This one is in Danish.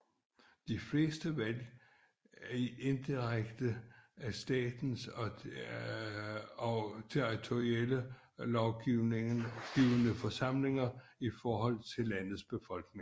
De fleste er valgt indirekte af staternes og territorielle lovgivende forsamlinger i forhold til landets befolkning